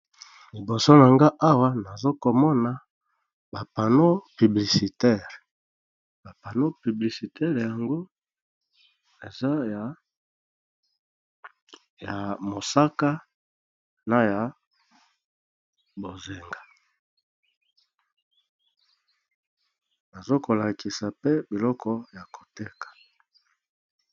liboso na nga awa nazokomona bapano publicitaire bapano piblicitaire yango eza ya mosaka na ya bozenga nazokolakisa pe biloko ya koteka